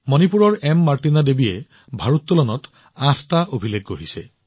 মণিপুৰৰ M Martina দেৱীয়ে ভাৰোত্তোলনত আঠটা অভিলেখ গঢ়িছে